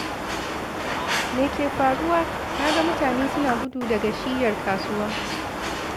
Me ke faruwa? Na ga mutane suna gudu daga shiyyar kasuwa!